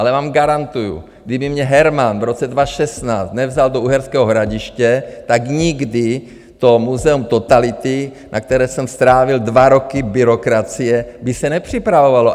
Ale vám garantuju, kdyby mě Herman v roce 2016 nevzal do Uherského Hradiště, tak nikdy to Muzeum totality, na kterém jsem strávil dva roky byrokracie, by se nepřipravovalo.